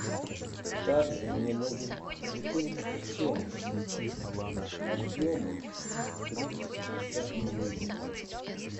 также мне нужен бутылочка хеннесси объемом триста пятьдесят миллилитров